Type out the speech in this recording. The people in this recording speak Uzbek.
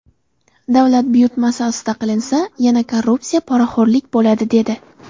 Davlat buyurtmasi asosida qilinsa, yana korrupsiya, poraxo‘rlik bo‘ladi”, dedi.